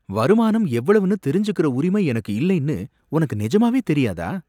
வருமானம் எவ்வளவுனு தெரிஞ்சுக்கிற உரிமை எனக்கு இல்லைன்னு உனக்கு நெஜமாவே தெரியாதா?